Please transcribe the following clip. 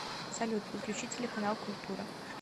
салют подключи телеканал культура